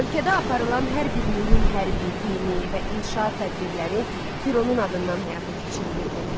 Ölkədə aparılan hər bir mühüm hərbi, dini və inşaat tədbirləri Fironun adından həyata keçirilirdi.